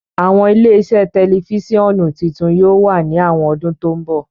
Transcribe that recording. Awọn ile-iṣẹ tẹlifisiọnu titun yóò wa ni awọn ọdun to nbọ.